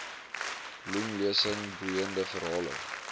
bloemlesing boeiende verhale